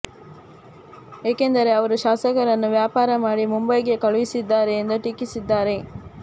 ಏಕೆಂದರೆ ಅವರು ಶಾಸಕರನ್ನು ವ್ಯಾಪಾರ ಮಾಡಿ ಮುಂಬೈಗೆ ಕಳುಹಿಸಿದ್ದಾರೆ ಎಂದು ಟೀಕಿಸಿದ್ದಾರೆ